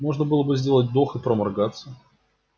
можно было сделать вдох и проморгаться